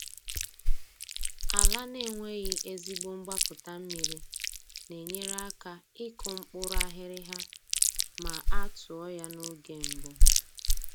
Ala na-enweghị ezigbo mgbapụta mmiri na-enyere aka ịkụ mkpụrụ aghịrịgha ma a tụọ ya n’oge mbụ.